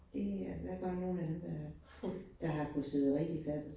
Det øh der bare nogle af dem, der der har kunnet sidde rigtig fast